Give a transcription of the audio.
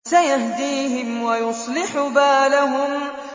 سَيَهْدِيهِمْ وَيُصْلِحُ بَالَهُمْ